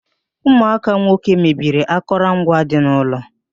Ụmụaka nwoke mebiri akụrụ ngwa dị n'ụlọ